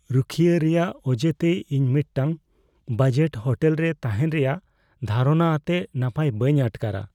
ᱨᱩᱠᱷᱤᱭᱟᱹ ᱨᱮᱭᱟᱜ ᱚᱡᱮᱛᱮ ᱤᱧ ᱢᱤᱫᱴᱟᱝ ᱵᱟᱡᱮᱴ ᱦᱳᱴᱮᱞ ᱨᱮ ᱛᱟᱦᱮᱱ ᱨᱮᱭᱟᱜ ᱫᱷᱟᱨᱚᱱᱟ ᱟᱛᱮ ᱱᱟᱯᱟᱭ ᱵᱟᱹᱧ ᱟᱴᱠᱟᱨᱟ ᱾